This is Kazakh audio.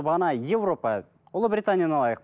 бағана европа ұлыбританияны алайық